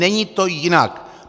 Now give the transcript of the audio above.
Není to jinak.